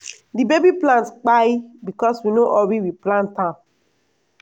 di baby plant pai becos we no hurry replant am.